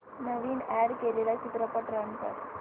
नवीन add केलेला चित्रपट run कर